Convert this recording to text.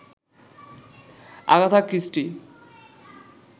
Agatha Christie